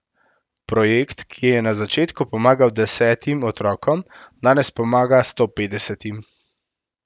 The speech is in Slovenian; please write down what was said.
Projekt, ki je na začetku pomagal desetim otrokom, danes pomaga stopetdesetim.